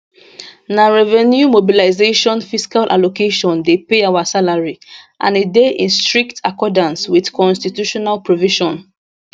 na revenue mobilization fiscal allocation dey pay our salary and e dey in strict accordance wit constitutional provision